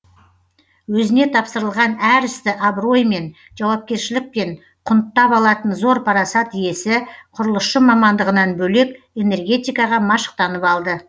өзіне тапсырылған әр істі абыроймен жауапкершілікпен құнттап алатын зор парасат иесі құрылысшы мамандығынан бөлек энергетикаға машықтанып алды